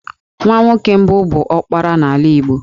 Nwa nwoke mbụ bụ 'ọkpara' n'ala Igbo